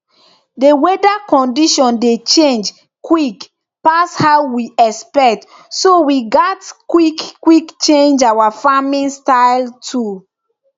the weather condition dey change quick pass how we expect so we gats quick quick change our farming style too